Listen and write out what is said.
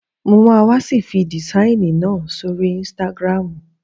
Mo was fi dìsáìnì náà sóri ínstágrámù